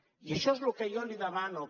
i això és el que jo li demano